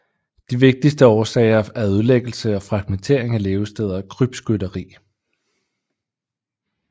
De vigtigste årsager er ødelæggelse og fragmentering af levesteder og krybskytteri